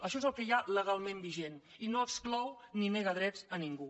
això és el que hi ha legalment vigent i no exclou ni nega drets a ningú